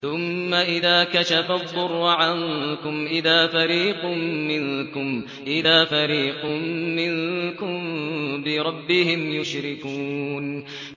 ثُمَّ إِذَا كَشَفَ الضُّرَّ عَنكُمْ إِذَا فَرِيقٌ مِّنكُم بِرَبِّهِمْ يُشْرِكُونَ